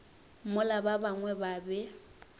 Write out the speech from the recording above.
mola ba bangwe ba be